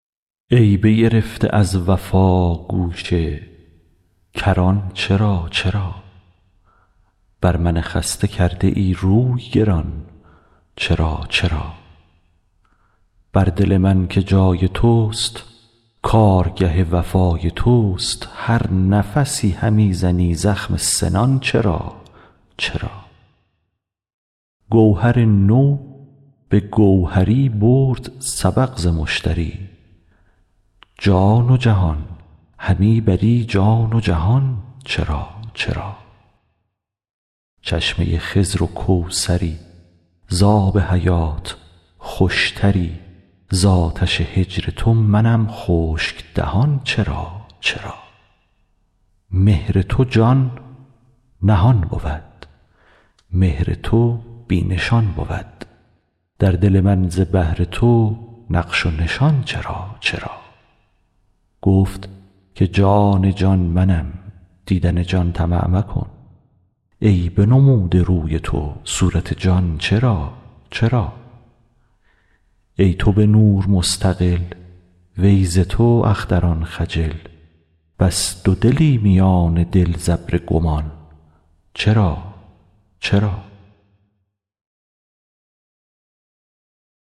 ای بگرفته از وفا گوشه کران چرا چرا بر من خسته کرده ای روی گران چرا چرا بر دل من که جای تست کارگه وفای تست هر نفسی همی زنی زخم سنان چرا چرا گوهر تو به گوهری برد سبق ز مشتری جان و جهان همی بری جان و جهان چرا چرا چشمه خضر و کوثری ز آب حیات خوشتری ز آتش هجر تو منم خشک دهان چرا چرا مهر تو جان نهان بود مهر تو بی نشان بود در دل من ز بهر تو نقش و نشان چرا چرا گفت که جان جان منم دیدن جان طمع مکن ای بنموده روی تو صورت جان چرا چرا ای تو به نور مستقل وی ز تو اختران خجل بس دودلی میان دل ز ابر گمان چرا چرا